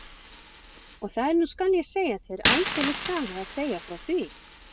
Og það er nú skal ég segja þér aldeilis saga að segja frá því.